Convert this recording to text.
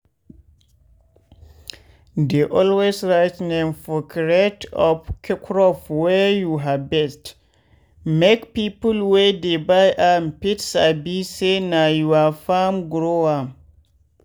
dey always write name for crate of crop wey you harvest make people wey dey buy am fit sabi say na your farm grow am.